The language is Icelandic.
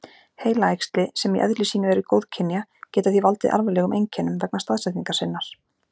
Heilaæxli, sem í eðli sínu eru góðkynja, geta því valdið alvarlegum einkennum vegna staðsetningar sinnar.